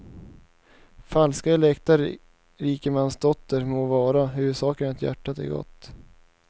Falsk eller äkta rikemansdotter må vara, huvudsaken är att hjärtat är gott.